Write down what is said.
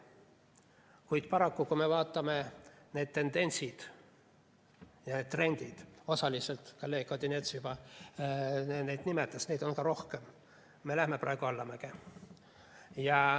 Kuid paraku, kui me vaatame neid tendentse ja trende, mida osaliselt kolleeg Odinets juba nimetas, siis neid on ka rohkem, me lähme praegu allamäge.